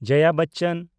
ᱡᱚᱭᱟ ᱵᱚᱪᱪᱚᱱ